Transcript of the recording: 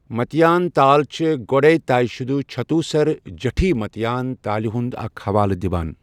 متیان تال چھِ گۄڈے طے شُدٕ چتھوسر جٹھی متیان تالہِ ہُنٛد اکھ حوالہٕ دِوان